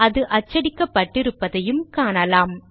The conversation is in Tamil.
அது அச்சடிக்கப்பட்டிருப்பதையும் காணலாம்